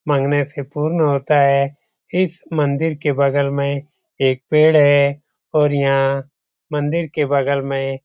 मांगने से पूर्ण होता है इस मंदिर के बगल में एक पेड़ है और यहां मंदिर के बगल में --